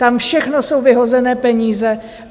Tam všechno jsou vyhozené peníze.